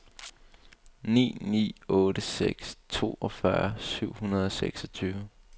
ni ni otte seks toogfyrre syv hundrede og seksogtyve